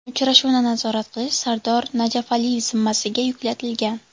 Uchrashuvni nazorat qilish Sardor Najafaliyev zimmasiga yuklatilgan.